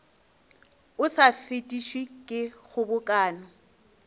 o sa fetišwe ke kgobokano